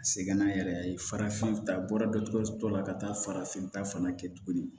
Segin na yɛrɛ ye farafin ta a bɔra dɔtɛriso la ka taa farafinta fana kɛ tuguni